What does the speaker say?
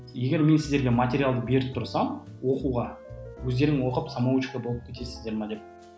егер мен сіздерге материалды беріп тұрсам оқуға өздерің оқып самоучка болып кетесіздер ме деп